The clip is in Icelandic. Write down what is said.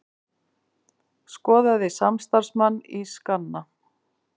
Skoðaði samstarfsmann í skanna